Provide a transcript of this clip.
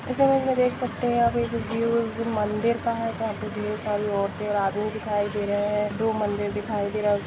जैसे की आप देख सकते है आप ये व्यू मंदिर का है जहां पे ढेर सारी औरतें और आदमी दिखाए दे रहे है दो मंदिर दिखाए दे रहा--